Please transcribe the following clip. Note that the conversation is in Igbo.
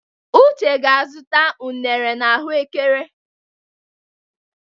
Uche ga-azụta unere na ahụ ekere.